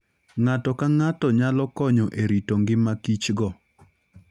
Ng'ato ka ng'ato nyalo konyo e rito ngima kichgo.